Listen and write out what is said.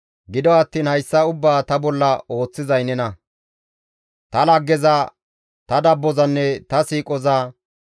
Gido attiin hayssa ubbaa ta bolla ooththizay nena, ta laggeza, ta dabbozanne ta siiqoza.